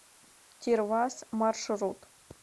тирвас маршрут